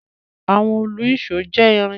Àwọn òlu-ìsó jẹ́ irin.